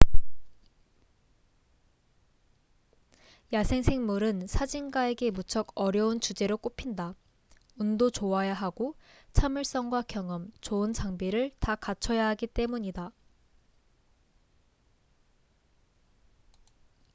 야생생물은 사진가에게 무척 어려운 주제로 꼽힌다 운도 좋아야 하고 참을성과 경험 좋은 장비를 다 갖춰야 하기 때문이다